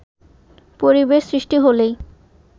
“পরিবেশ সৃষ্টি হলেই